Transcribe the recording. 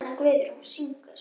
Jóhanna Guðrún syngur.